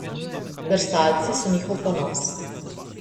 Drsalci so njihov ponos.